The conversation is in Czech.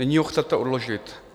Nyní ho chcete odložit.